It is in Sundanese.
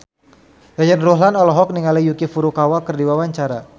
Yayan Ruhlan olohok ningali Yuki Furukawa keur diwawancara